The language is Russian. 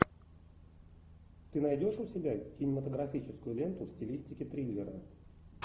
ты найдешь у себя кинематографическую ленту в стилистике триллера